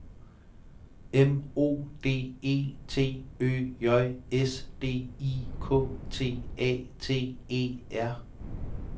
M O D E T Ø J S D I K T A T E R